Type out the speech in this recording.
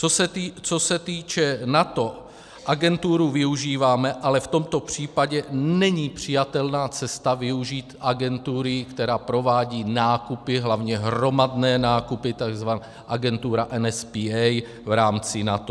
Co se týká NATO, agenturu využíváme, ale v tomto případě není přijatelná cesta využít agentury, která provádí nákupy, hlavně hromadné nákupy, tzv. agentura NSPA v rámci NATO.